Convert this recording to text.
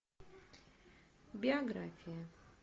биография